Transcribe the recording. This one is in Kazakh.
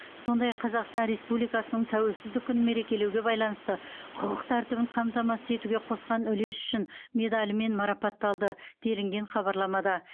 сондай ақ қазақстан республикасының тәуелсіздік күнін мерекелеуге байланысты құқық тәртібін қамтамасыз етуге қосқан үлесі үшін медалімен марапатталды делінген хабарламада